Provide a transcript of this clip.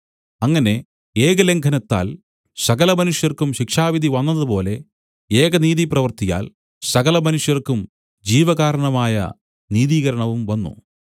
അങ്ങനെ ഏകലംഘനത്താൽ സകലമനുഷ്യർക്കും ശിക്ഷാവിധിവന്നതുപോലെ ഏകനീതിപ്രവൃത്തിയാൽ സകലമനുഷ്യർക്കും ജീവകാരണമായ നീതീകരണവും വന്നു